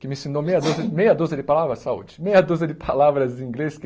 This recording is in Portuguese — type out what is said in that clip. que me ensinou meia dúzia meia dúzia de palavras, saúde, meia dúzia de palavras em inglês que.